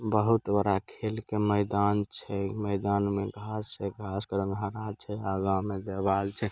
बहुत बड़ा खेल के मैदान छै। मैदान में घांस छै घांस के रंग हरा छै। आगा मे दीवाल छै।